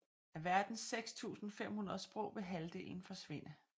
Af verdens 6500 sprog vil halvdelen forsvinde